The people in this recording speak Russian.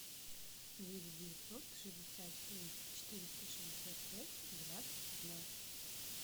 девять девятьсот шестьдесят семь четыреста шестьдесят пять двадцать пятнадцать